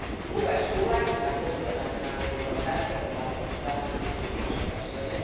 Cuba es Cuba, es un actor internacional muy importante, como ha demostrado en muchísimas ocasiones